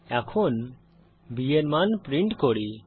এখন b এর মান প্রিন্ট করি